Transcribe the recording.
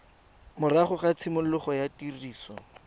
morago ga tshimologo ya tiriso